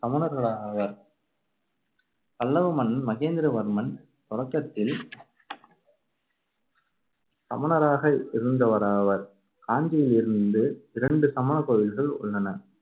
சமணர்களாவர். பல்லவ மன்னன் மகேந்திரவர்மன் தொடக்கத்தில் சமணராக இருந்தவராவார். காஞ்சியில் இருந்து இரண்டு சமணக் கோவில்கள் உள்ளன.